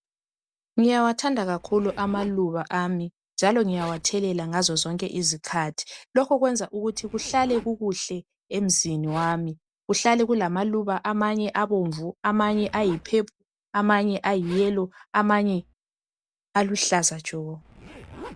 Ngiyawathanda kakhulu amaluba ami njalo ngiyawathelela ngazo zonke izikhathi. Lokhu kwenza ukuthi kuhlale kukuhle emzini wami, kuhlale kulamaluba amanye abomvu, amanye ayi purple, amanye ayi yellow amanye aluhlaza tshoko